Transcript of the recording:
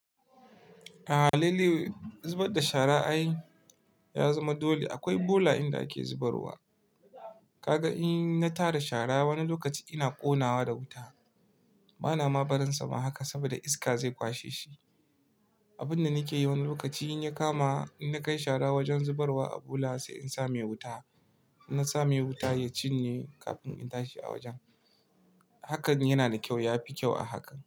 A lalle zubar da shara ai ya zama dole akwai bola inda ake zubarwa. Kaga in na tara shara wani lokaci ina ƙonawa da wuta bana ma barinsa ma haka saboda iska zai kwashe shi. Abun da nike yi wani lokaci in ya kama in na kai shara wajen zubarwa a bola sai in sa mai wuta. Na sa mai wuta ya cinye kafin in tashi a wajen. Hakan yana da kyau, ya fi kyau a haka.